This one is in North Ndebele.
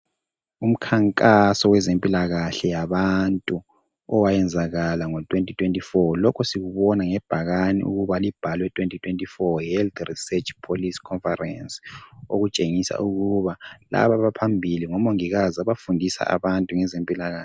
Umkhankaso wezempilakahle yabantu owayenzakala ngo2024 lokho sikubona ngebhakane ukuba libhalwe 2024 Health research policy conference okutshengisa ukuba laba abaphambili ngomongikazi abafundisa abantu ngezempilakahle.